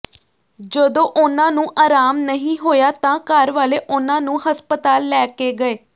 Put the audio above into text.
ਜਦੋਂ ਉਨ੍ਹਾਂਨੂੰ ਆਰਾਮ ਨਹੀਂ ਹੋਇਆ ਤਾਂ ਘਰਵਾਲੇ ਉਨ੍ਹਾਂਨੂੰ ਹਸਪਤਾਲ ਲੈ ਕੇ ਗਏ